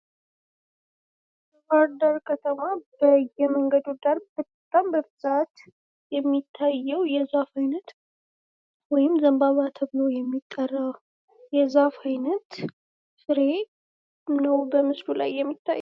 በባህር ዳር በየመንገዱ የሚታየው የዛፍ አይነት ወይም ዘንባባ ተብሎ የሚጠራ የዛፍ አይነት ፍሬ ነው በምስሉ ላይ የሚታየው።